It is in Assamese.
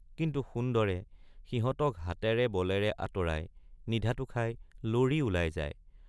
কিন্তু সুন্দৰে সিহঁতক হাতেৰে বলেৰে আঁতৰাই নিধাতু খই লৰি ওলায় যায়।